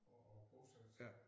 At at bosætte sig